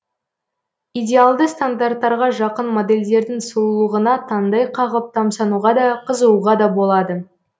идеалды стандарттарға жақын модельдердің сұлулығына таңдай қағып тамсануға да қызығуға да болады